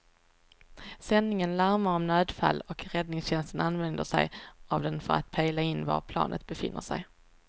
Sändningen larmar om nödfall och räddningstjänsten använder sig av den för att pejla in var planet befinner sig.